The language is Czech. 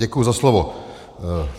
Děkuji za slovo.